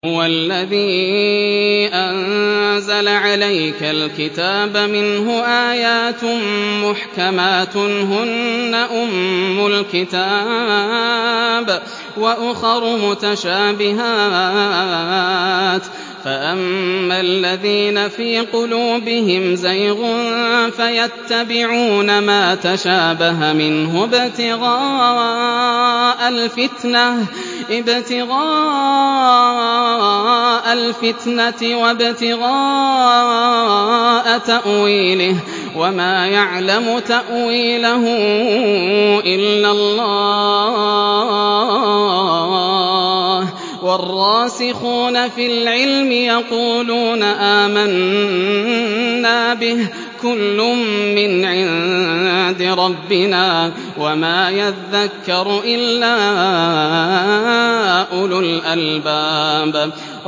هُوَ الَّذِي أَنزَلَ عَلَيْكَ الْكِتَابَ مِنْهُ آيَاتٌ مُّحْكَمَاتٌ هُنَّ أُمُّ الْكِتَابِ وَأُخَرُ مُتَشَابِهَاتٌ ۖ فَأَمَّا الَّذِينَ فِي قُلُوبِهِمْ زَيْغٌ فَيَتَّبِعُونَ مَا تَشَابَهَ مِنْهُ ابْتِغَاءَ الْفِتْنَةِ وَابْتِغَاءَ تَأْوِيلِهِ ۗ وَمَا يَعْلَمُ تَأْوِيلَهُ إِلَّا اللَّهُ ۗ وَالرَّاسِخُونَ فِي الْعِلْمِ يَقُولُونَ آمَنَّا بِهِ كُلٌّ مِّنْ عِندِ رَبِّنَا ۗ وَمَا يَذَّكَّرُ إِلَّا أُولُو الْأَلْبَابِ